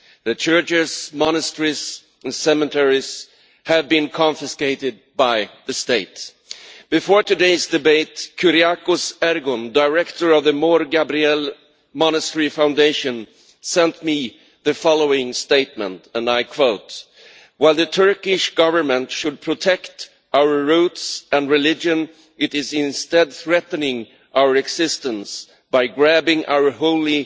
Their churches, monasteries and cemeteries have been confiscated by the state. Before today's debate, Kuryakos Ergun, director of the Mor Gabriel Monastery Foundation, sent me the following statement, and I quote While the Turkish Government should protect our roots and our religion, it is instead threatening our existence by grabbing our holy